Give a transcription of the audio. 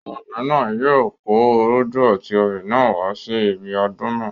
Ọmọbìnrin náà yóò kó orógbó, àti obì náà wá sí ibi ọdún náà.